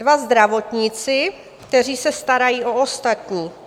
Dva zdravotníci, kteří se starají o ostatní.